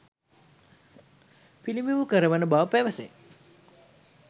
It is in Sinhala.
පිළිබිඹු කරවන බව පැවසේ.